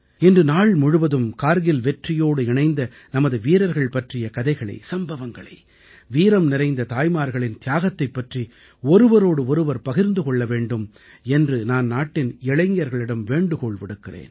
இன்று நாள் முழுவதும் கார்கில் வெற்றியோடு இணைந்த நமது வீரர்கள் பற்றிய கதைகளை வீரம் நிறைந்த தாய்மார்களின் தியாகத்தைப் பற்றி ஒருவரோடு ஒருவர் பகிர்ந்து கொள்ள வேண்டும் என்று நான் நாட்டின் இளைஞர்களிடம் வேண்டுகோள் விடுக்கிறேன்